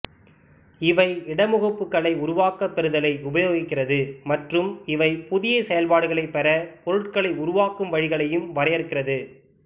இவை இடமுகப்புகளை உருவாக்க பெறுதலை உபயோகிக்கிறது மற்றும் இவை புதிய செயல்பாடுகளைப் பெற பொருட்களை உருவாக்கும் வழிகளையும் வரையறுக்கிறது